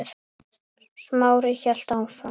Smári hélt áfram.